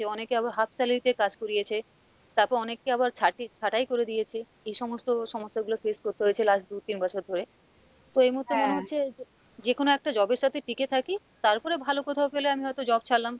অনেকে আবার half salary দিয়ে কাজ করিয়েছে, তারপর অনেককে আবার ছাটি~ ছাঁটাই করে দিয়েছে, এই সমস্ত সমস্যাগুলো face করতে হয়েছে last দু তিন বছর ধরে, তো এই মুহুর্তে মনে হচ্ছে যেকোনো একটা job এর সাথে টিকে থাকি, তারপরে ভালো কোথাও পেলে আমি হয়তো job ছাড়লাম,